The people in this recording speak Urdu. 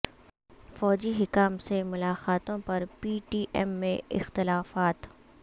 فوجی حکام سے ملاقاتوں پر پی ٹی ایم میں اختلافات